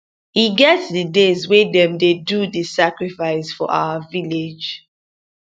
e get the days wey dem dey do the sacrifice for our village